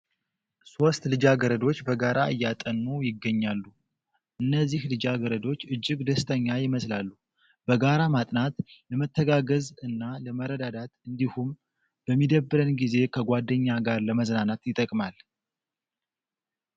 ሶስት ልጃገረዶች በጋራ እያጠኑ ይገኛሉ። እነዚህ ልጃገረዶች እጅግ ደስተኛ ይመስላሉ። በጋራ ማጥናት ለመተጋገዝ እና ለመረዳዳት እንዲሁም በሚደብረን ጊዜ ከጓደኛ ጋር ለመዝናናት ይጠቅማል።